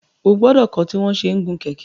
O gbọdọ kọ tí wọn ṣẹ n gun kẹkẹ!